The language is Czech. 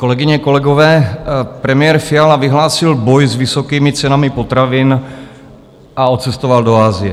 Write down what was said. Kolegyně, kolegové, premiér Fiala vyhlásil boj s vysokými cenami potravin a odcestoval do Asie.